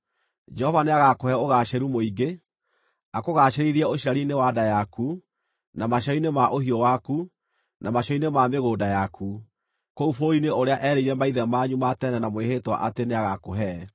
Jehova nĩagakũhe ũgaacĩru mũingĩ, akũgaacĩrithie ũciari-inĩ wa nda yaku, na maciaro-inĩ ma ũhiũ waku, na maciaro-inĩ ma mĩgũnda yaku, kũu bũrũri-inĩ ũrĩa erĩire maithe manyu ma tene na mwĩhĩtwa atĩ nĩagakũhe.